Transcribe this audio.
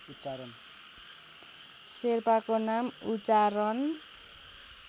शेर्पाको नाम उच्चारण